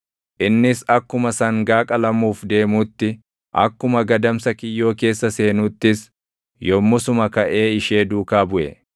Innis akkuma sangaa qalamuuf deemuutti, akkuma gadamsa kiyyoo keessa seenuuttis yommusuma kaʼee ishee duukaa buʼe;